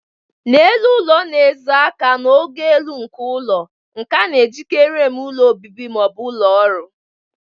N'elu ụlọ na-ezo aka n'ogo elu nke ụlọ, nke a na-ejikarị eme ụlọ obibi ma ọ bụ ụlọ ọrụ.